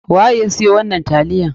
Waye ya siyo wannan taliyan?